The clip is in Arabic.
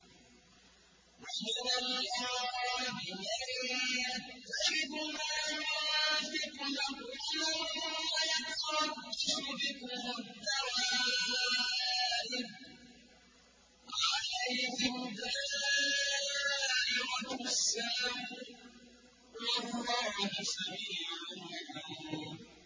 وَمِنَ الْأَعْرَابِ مَن يَتَّخِذُ مَا يُنفِقُ مَغْرَمًا وَيَتَرَبَّصُ بِكُمُ الدَّوَائِرَ ۚ عَلَيْهِمْ دَائِرَةُ السَّوْءِ ۗ وَاللَّهُ سَمِيعٌ عَلِيمٌ